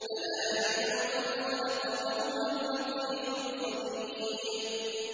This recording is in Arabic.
أَلَا يَعْلَمُ مَنْ خَلَقَ وَهُوَ اللَّطِيفُ الْخَبِيرُ